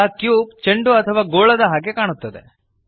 ಈಗ ಕ್ಯೂಬ್ ಚಂಡು ಅಥವಾ ಗೋಳದ ಹಾಗೆ ಕಾಣುತ್ತದೆ